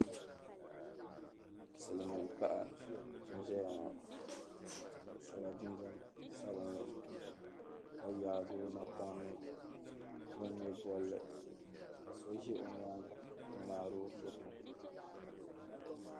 Silimin' paɣa n-zaya ŋɔ ka so jinjam sabinli ka jaa o napɔŋ ni o ŋme bolli ka so ʒe o nyaaŋa n-ŋmaari o foto.